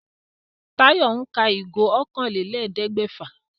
Táyọ̀ ń ka ìgò okòólélẹ́ẹ̀ẹ́dẹ́gbẹ́fà